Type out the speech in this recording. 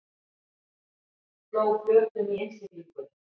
Sló flötum í innsiglingunni